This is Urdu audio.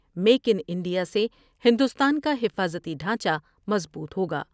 میک ان انڈیا سے ہندوستان کا حفاظتی ڈھانچہ مضبوط ہوگا ۔